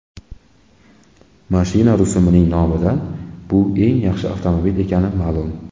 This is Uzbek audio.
Mashina rusumining nomidan bu eng yaxshi avtomobil ekani ma’lum.